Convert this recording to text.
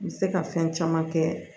N bɛ se ka fɛn caman kɛ